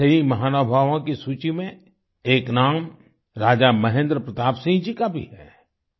ऐसे ही महानुभावों की सूची में एक नाम राजा महेंद्र प्रताप सिंह जी का भी है